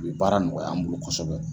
U bɛ baara nɔgɔya an bolo kosɛbɛ.